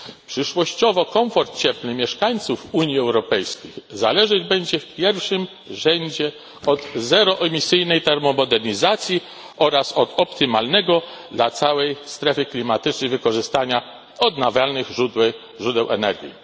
Przyszłościowo komfort cieplny mieszkańców Unii Europejskiej zależeć będzie w pierwszym rzędzie od zeroemisyjnej termomodernizacji oraz od optymalnego dla całej strefy klimatycznej wykorzystania odnawialnych źródeł energii.